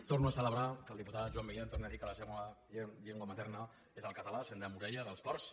torno a celebrar que el diputat joan milián torni a dir que la seva llengua materna és el català sent de morella dels ports